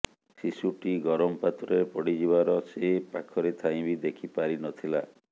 ଶିଶୁଟି ଗରମ ପାତ୍ରରେ ପଡ଼ିଯିବାର ସେ ପାଖରେ ଥାଇ ବି ଦେଖି ପାରିନଥିଲା